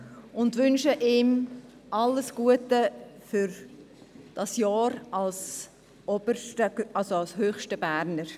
Wir wünschen ihm alles Gute für das Jahr als höchster Berner.